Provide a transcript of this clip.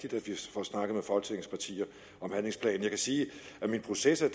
får snakket med folketingets partier om handlingsplanen jeg kan sige at min proces er